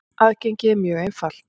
Aðgengið er mjög einfalt.